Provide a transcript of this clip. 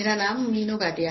My name is Meenu Bhatia